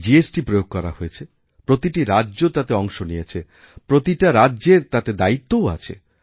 GST প্রয়োগ করা হয়েছে প্রতিটিরাজ্য তাতে অংশ নিয়েছে প্রতিটা রাজ্যের তাতে দায়িত্বও আছে